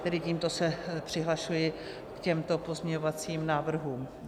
Tedy tímto se přihlašuji k těmto pozměňovacím návrhům.